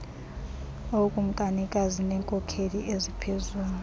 ookumkanikazi neenkokheli eziphezulu